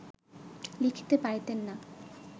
লিখিতে পারিতেন না